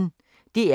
DR P1